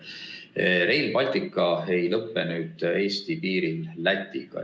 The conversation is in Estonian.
Nüüd, Rail Baltic ei lõpe Eesti piiril Lätiga.